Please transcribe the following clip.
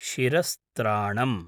शिरस्त्राणम्